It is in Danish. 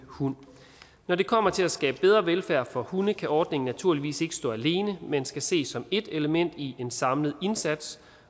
hund når det kommer til at skabe bedre velfærd for hunde kan ordningen naturligvis ikke stå alene men skal ses som et element i en samlet indsats